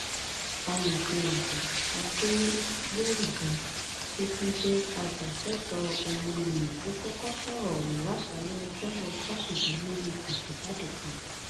amòfin àgbà adẹgbòrugà tó tún jẹ ajàfẹtọọ ọmọnìyàn ló kọkọ sọrọ ọhún láṣáálẹ ọjọbọ tosidee nínú àtẹjáde kan